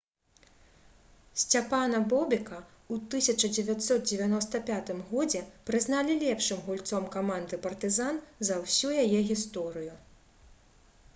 сцяпана бобека ў 1995 годзе прызналі лепшым гульцом каманды «партызан» за ўсю яе гісторыю